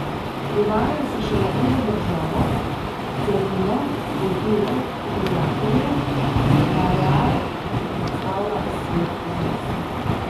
Privaja se še na drugo državo, celino, kulture, prijatelje, na Real, ki predstavlja svet zase.